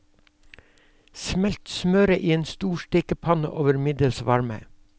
Smelt smøret i en stor stekepanne over middels varme.